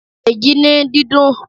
Dèjì ní dídùn!